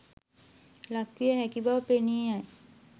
ලක්විය හැකි බව පෙනී යයි.